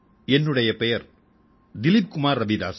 என்னுடைய பெயர் திலீப் குமார் ரவிதாஸ்